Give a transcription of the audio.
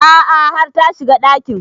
A'a har ta shiga ɗakin